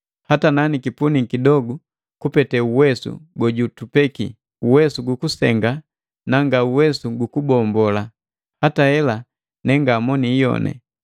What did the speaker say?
Hata na nikipuniki kidogu kupete uwesu gojutupeki, uwesu ukusenga na ngauwesu gukubombola, hata hela ne ngamoni iyoni.